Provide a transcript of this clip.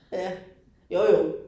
Ja, jo jo